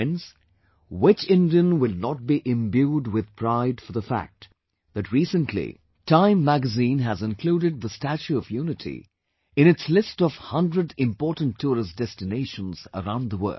Friends, which Indian will not be imbued with pride for the fact that recently, Time magazine has included the 'Statue of Unity'in its list of 100 important tourist destinations around the world